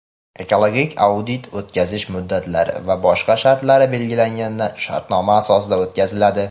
ekologik audit o‘tkazish muddatlari va boshqa shartlari belgilanadigan shartnoma asosida o‘tkaziladi.